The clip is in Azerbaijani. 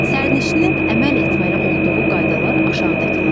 Sərnişinin əməl etməli olduğu qaydalar aşağıdakılardır: